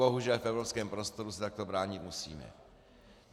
Bohužel v evropském prostoru se takto bránit musíme.